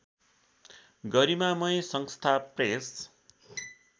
गरिमामय संस्था प्रेस